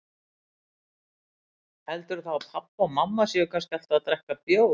Heldurðu þá að pabbi og mamma séu kannski alltaf að drekka bjór?